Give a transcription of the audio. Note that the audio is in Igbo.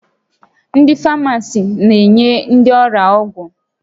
Ndị Famasist na-enye ndị ọrịa ọgwụ